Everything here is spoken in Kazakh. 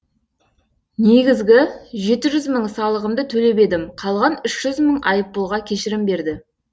негізгі жеті жүз мың салығымды төлеп едім қалған үш жүз мың айыппұлға кешірім берді